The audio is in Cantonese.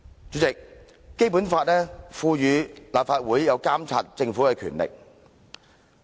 主席，《基本法》賦予立法會監察政府的權力。